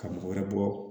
Ka mɔgɔ wɛrɛ bɔ